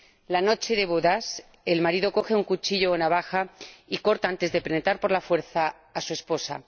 La noche de bodas, el marido coge un cuchillo o una navaja y corta, antes de penetrar por la fuerza a su esposa.